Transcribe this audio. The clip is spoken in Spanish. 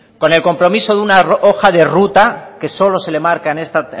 con el compromiso de una hoja de ruta que solo se le marca en esta